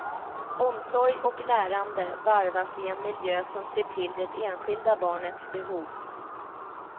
Omsorg och lärande varvas i en miljö som ser till det enskilda barnets behov.